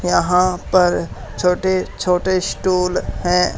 यहां पर छोटे छोटे स्टूल हैं।